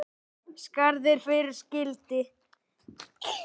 Skarð er fyrir skildi.